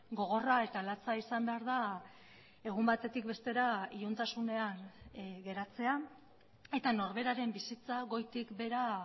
gogorra eta latza izan behar da egun batetik bestera iluntasunean geratzea eta norberaren bizitza goitik behera